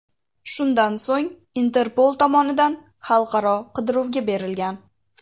Shundan so‘ng Interpol tomonidan xalqaro qidiruvga berilgan.